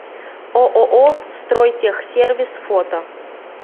ооо стройтехсервис фото